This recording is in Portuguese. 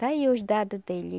Está aí os dado dele.